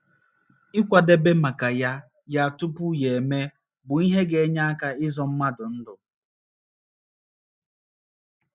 Ịkwadebe maka ya ya tupu ya emee bụ ihe ga - enye aka ịzọ mmadụ ndụ.